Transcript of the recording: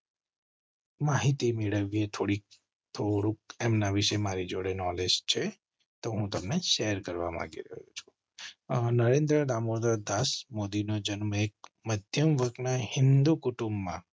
માહિતી મેળવી થોડી એમ ના વિશે મારી જોડે નોલેજ છે તો તમે શેર કરવામાં માંગુ છું. નરેન્દ્ર દામોદરદાસ મોદી નો જન્મ એક મધ્યમ વર્ગના હિન્દુ કુટુંબમાં